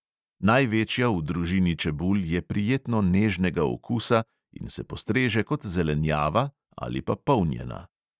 Največja v družini čebul je prijetno nežnega okusa in se postreže kot zelenjava ali pa polnjena.